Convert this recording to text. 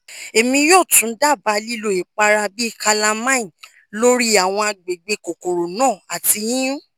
emi yoo tun daba lilo ipara bi calamine lori awọn agbegbe kokoro na ati yiyun